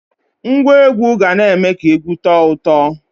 Ngwa egwu ga na-eme ka egwu tọọ ụtọ.